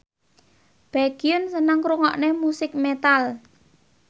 Baekhyun seneng ngrungokne musik metal